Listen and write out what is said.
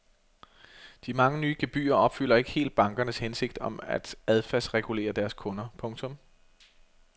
De mange nye gebyrer opfylder ikke helt bankernes hensigt om at adfærdsregulere deres kunder. punktum